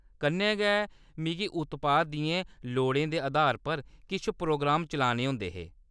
कन्नै गै, मिगी उत्पाद दियें लोड़ें दे अधार पर किश प्रोग्राम चलाने होंदे हे।